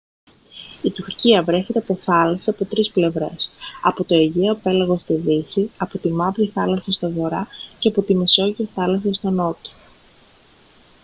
η τουρκία βρέχεται από θάλασσες από τρεις πλευρές από το αιγαίο πέλαγος στη δύση από τη μαύρη θάλασσα στον βορρά και από τη μεσόγειο θάλασσα στον νότο